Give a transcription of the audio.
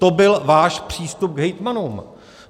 To byl váš přístup k hejtmanům!